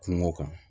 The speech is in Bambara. Kungo kan